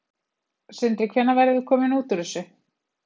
Sindri: Hvenær verðum við komin út úr þessu?